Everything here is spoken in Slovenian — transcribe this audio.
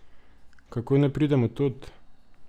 Kako naj pridem od tod?